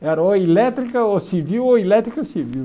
Era ou elétrica ou civil ou elétrica ou civil.